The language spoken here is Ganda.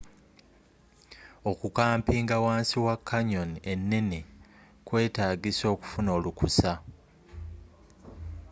okukampinga wansi wa canyon enene kwetagisa okufuna olukusa